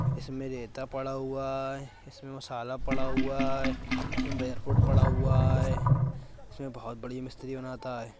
इसमें रेता पड़ा हुआ है इसमें मसाला पड़ा हुआ है इसमें पड़ा हुआ है इसमें बहुत बड़ी मिस्त्री बनाता है।